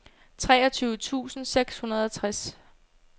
treogtyve tusind seks hundrede og tres